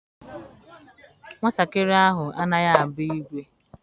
Nwatakịrị anaghị abụ igwe.